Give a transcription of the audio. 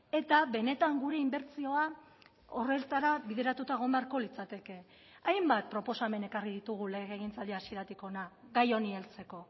eta benetan gure inbertsioa horretara bideratuta egon beharko litzateke hainbat proposamen ekarri ditugu legegintzaldi hasieratik hona gai honi heltzeko